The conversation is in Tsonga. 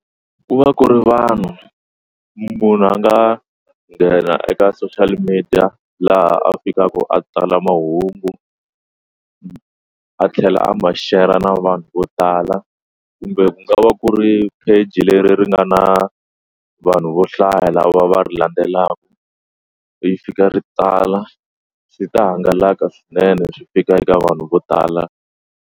Ku va ku ri vanhu munhu a nga nghena eka social media laha a fikaka a tsala mahungu a tlhela a ma share-ra na vanhu vo tala kumbe ku nga va ku ri page leri ri nga na vanhu vo hlaya lava va ri landzelaka yi fika ri tsala swi ta hangalaka swinene swi fika eka vanhu vo tala.